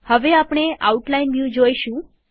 હવે આપણે outline view જોઈશું